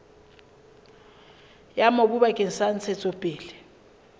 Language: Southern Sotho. ya mobu bakeng sa ntshetsopele